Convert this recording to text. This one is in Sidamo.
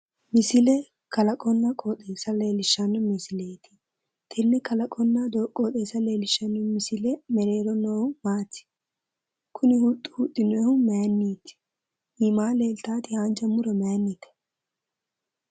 Misile kalaqonna qioxeessa leellishshanno misileeti. Konne kalaqonna qooxeessa leellishshanno misile mereero noohu maati? Kuni huxxi huxxinoyihu mayinniiti? Iimaa leeltawoti haanja muro mayinnite?